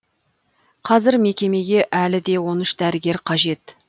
қазір мекемеге әлі де он үш дәрігер қажет